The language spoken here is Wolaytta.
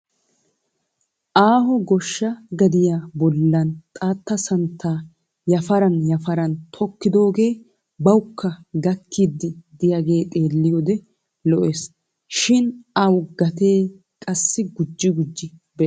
Aaho goshshaa gadiya bollan xaatta santtaa yeparan yaparan tokkidoogee bawukka gakkiiddi diyagee xeelliyoode lo'es. Shin a gatee qassi gujji gujji bes.